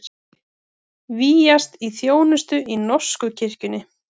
Vígjast til þjónustu í norsku kirkjunni